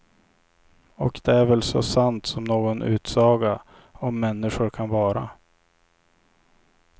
Och det är väl så sant som någon utsaga om människor kan vara.